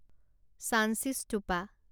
Sanchi stupa